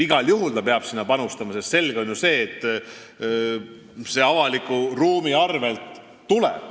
Igal juhul ta peab sinna panustama, sest selge on ju see, et see tuleb avaliku ruumi arvel.